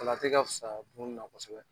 O la a tɛ ka fusaya kun na kosɛbɛ.